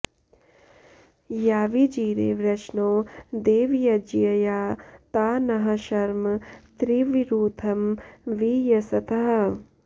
यावी॑जि॒रे वृष॑णो देवय॒ज्यया॒ ता नः॒ शर्म॑ त्रि॒वरू॑थं॒ वि यं॑सतः